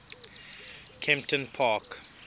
kemptonpark